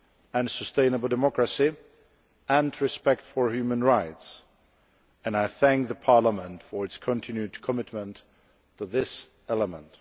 and sustainable democracy and respect for human rights, and I thank Parliament for its continued commitment to this element.